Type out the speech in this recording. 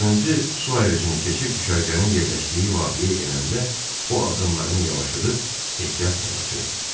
Axırıncı su ayırıcını keçib düşərgənin yerləşdiyi vadiyə enəndə o addımlarını yavaşladıb ehtiyatla qaçırdı.